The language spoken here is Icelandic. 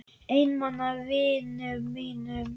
Einmana vinum mínum.